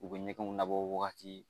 U bɛ ɲɛgɛnw labɔ wagati